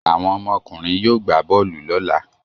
Àwọn ọmọkùnrin yóò gbà bọ́ọ́lù lọ́la.